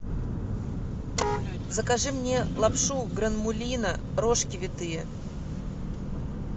закажи мне лапшу гранмулино рожки витые